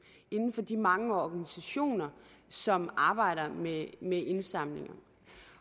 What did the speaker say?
inden for de mange organisationer som arbejder med indsamlinger